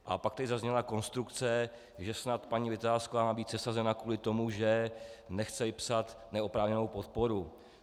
A pak tady zazněla konstrukce, že snad paní Vitásková má být sesazena kvůli tomu, že nechce vypsat neoprávněnou podporu.